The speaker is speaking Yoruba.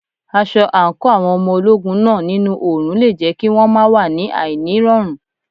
Aṣọ àǹkóò àwọn ọmọ ogun náà nínú òrùn le jẹ́ kí won máa wà ní àìní rọrùn.